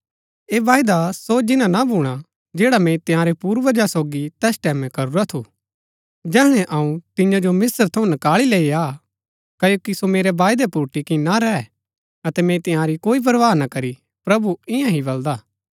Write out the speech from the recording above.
ऐह वायदा सो जिन्‍ना ना भूणा हा जैड़ा मैंई तंयारै पूर्वजा सोगी तैस टैमैं करूरा थू जैहणै अऊँ तियां जो मिस्र थऊँ नकाळी लैई आ क्ओकि सो मेरै वायदै पुर टिक्की ना रैह अतै मैंई तिआंरी कोई परवाह ना करी प्रभु ईयां ही बलदा हा